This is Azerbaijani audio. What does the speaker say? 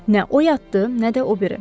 Nə o yatdı, nə də o biri.